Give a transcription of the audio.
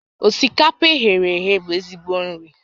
Osikapa e ghere eghe bụ ezigbo nri